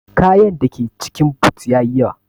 kayan dake cikin boot yayi yawa.